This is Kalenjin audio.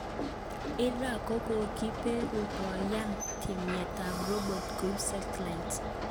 Iran kokokiperu konya tyemet ab robot koib setilste